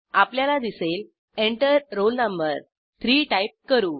आपल्याला दिसेल Enter roll no 3 type करू